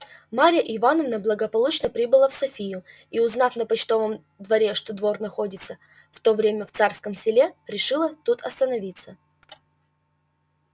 марья ивановна благополучно прибыла в софию и узнав на почтовом дворе что двор находился в то время в царском селе решила тут остановиться